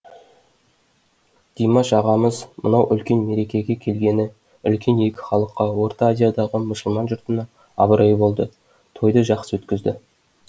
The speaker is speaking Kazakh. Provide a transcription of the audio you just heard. димаш ағамыз мынау үлкен мерекеге келгені үлкен екі халыққа орта азиядағы мұсылман жұртына абырой болды тойды жақсы өткізді